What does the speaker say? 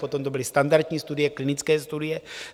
Potom to byly standardní studie, klinické studie.